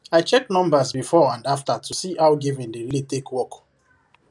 i check numbers before and after to see how giving dey really take work